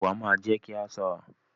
Ìwà máa ń jé kí a ṣọ́ra